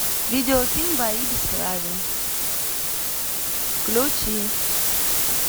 видео фильм бои без правил включи